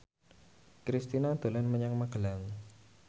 Kristina dolan menyang Magelang